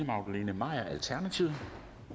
magdalene maier alternativet